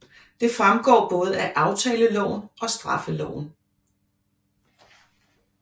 Det fremgår både af aftaleloven og straffeloven